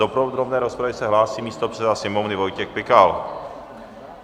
Do podrobné rozpravy se hlásí místopředseda Sněmovny Vojtěch Pikal.